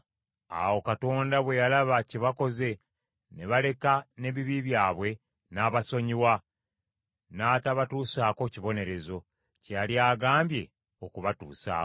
Awo Katonda bwe yalaba kye bakoze, ne baleka n’ebibi byabwe, n’abasonyiwa n’atabatuusaako kibonerezo, kye yali agambye okubatuusaako.